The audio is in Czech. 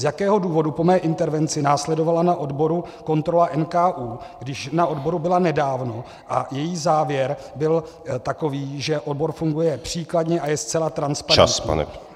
Z jakého důvodu po mé intervenci následovala na odboru kontrola NKÚ, když na odboru byla nedávno a její závěr byl takový, že odbor funguje příkladně a je zcela transparentní?